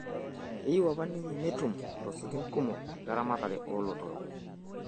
Keyieu apa ninye netum losekin kumok leramatare oo lotorok